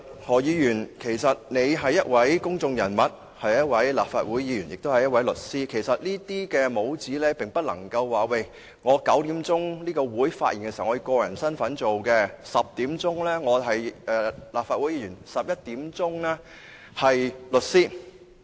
何議員是一位公眾人物，是一位立法會議員，亦是一位律師，但卻不能夠因為同時擁有這些帽子，便可說我9時是以個人身份在會議上的發言 ，10 時是立法會議員 ，11 時是律師。